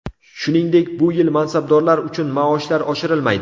Shuningdek, bu yil mansabdorlar uchun maoshlar oshirilmaydi.